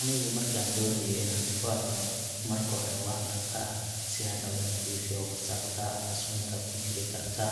Anigu markaan doonayo inaan tufaax cuno, marka hore waan dhaqaa si aan uga nadiifiyo wasakhda ama sunta ku jiri karta.